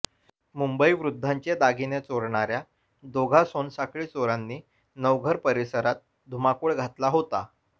मुंबई वृद्धांचे दागिने चोरणाऱया दोघा सोनसाखळी चोरांनी नवघर परिसरात धुमाकूळ घातला होता